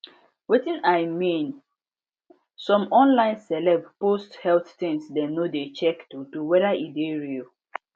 wetin i mean some online celeb post health things dem no de check truthtruth weyda e dey real